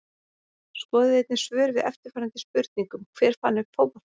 Skoðið einnig svör við eftirfarandi spurningum Hver fann upp fótboltann?